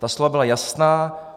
Ta slova byla jasná.